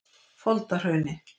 Foldahrauni